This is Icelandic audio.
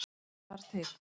En hvað þarf til.